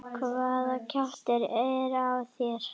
HVAÐA KJAFTUR ER Á ÞÉR.